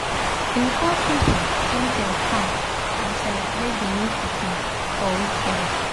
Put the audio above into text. dem call people make dem con um celebrate the new pikin um for weekend